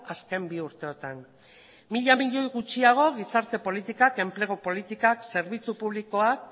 azken bi urteotan mila milioi gutxiago gizarte politikak enplegu politikak zerbitzu publikoak